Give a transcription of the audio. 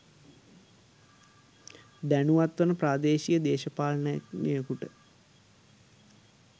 දැනුවත් වන ප්‍රාදේශීය දේශපාලනඥයෙකුට